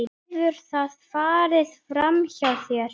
Hefur það farið framhjá þér?